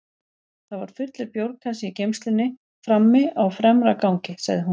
Það var fullur bjórkassi í geymslunni frammi á fremra gangi, sagði hún.